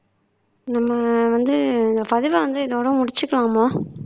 நம்ம வந்து இந்த பதிவை வந்து இதோட முடிச்சிக்கலாம்மா